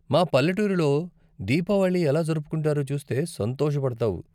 మా పల్లెటూరిలో దీపావళి ఎలా జరుపుకుంటారో చూస్తే సంతోషపడతావు.